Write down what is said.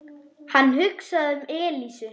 Hann hugsaði um Elísu.